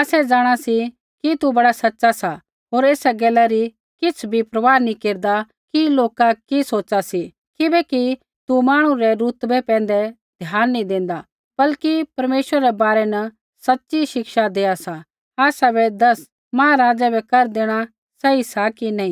आसै जाँणा सी कि तू बड़ा सच़ा सा होर एसा गैला री किछ़ भी परवाह नी केरदा कि लोका कि सोच़ा सी किबैकि तू मांहणु रै रुतवै पैंधै ध्यान नी देंदा बल्कि परमेश्वर रै बारै न सच़ी शिक्षा देआ सा आसाबै दस महाराज़ै बै कर देणा सही सा कि नी